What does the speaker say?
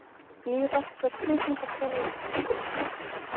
Nýr rektor Kvikmyndaskóla Íslands